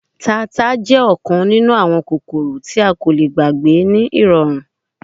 Tata jẹ ọkan ninu awọn kokoro ti a ko le gbagbe ni irọrun